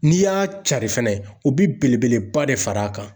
N'i y'a carin fɛnɛ, o be belebeleba de fara kan.